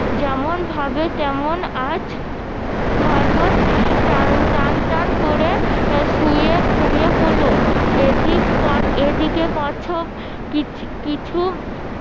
যেমন ভাবে তেমন আজ খরগোশ টান টান টান করে শুয়ে ঘুমিয়ে পড়লো এদিক এদিকে কচ্ছপ কিছু